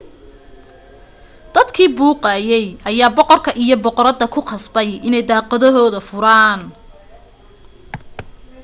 dadkii buuqayay ayaa boqorka iyo boqorada ku qasbay inay daaqadohooda furaan